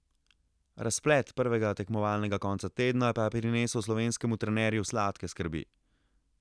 Razplet prvega tekmovalnega konca tedna pa je prinesel slovenskemu trenerju sladke skrbi.